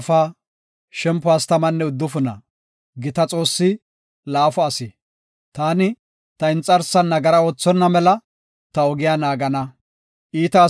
Taani, “Ta inxarsan nagara oothonna mela, ta ogiya naagana. Iita asati ta de7iya wode, ta doona barana” yaagas.